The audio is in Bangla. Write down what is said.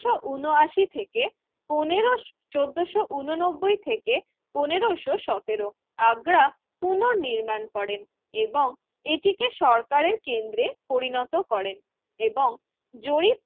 ঊনআশি থেকে পনেরো চোদ্দোশো উননব্বই থেকে পনেরোশো সতেরো আগ্রা পুনর্নির্মাণ করেন এবং এটিকে সরকারের কেন্দ্রে পরিণত করেন এবং জরিপ